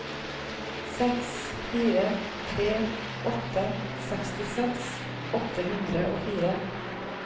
seks fire tre åtte sekstiseks åtte hundre og fire